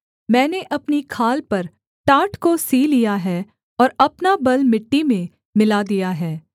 मैंने अपनी खाल पर टाट को सी लिया है और अपना बल मिट्टी में मिला दिया है